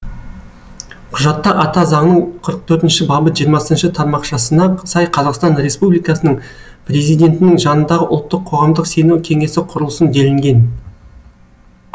құжатта ата заңның қырық төртінші бабы жиырмасыншы тармақшасына сай қазақстан республикасының президентінің жанындағы ұлттық қоғамдық сенім кеңесі құрылсын делінген